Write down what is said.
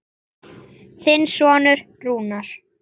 Þinn sonur Rúnar.